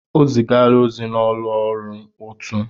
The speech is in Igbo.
O zigala ozi n'ụlọ ọrụ ụtụ.